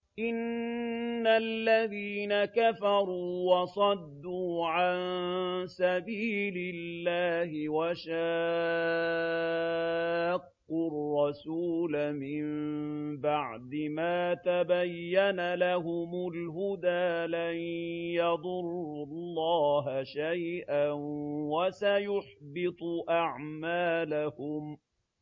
إِنَّ الَّذِينَ كَفَرُوا وَصَدُّوا عَن سَبِيلِ اللَّهِ وَشَاقُّوا الرَّسُولَ مِن بَعْدِ مَا تَبَيَّنَ لَهُمُ الْهُدَىٰ لَن يَضُرُّوا اللَّهَ شَيْئًا وَسَيُحْبِطُ أَعْمَالَهُمْ